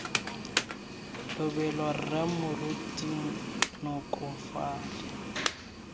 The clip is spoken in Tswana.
lobelo rre moruti nkoko fale